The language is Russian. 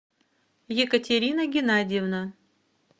екатерина геннадьевна